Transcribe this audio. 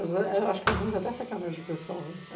Acho que alguns até sacanagem para o pessoal, né?